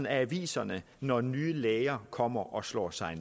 aviserne når nye læger kommer og slår sig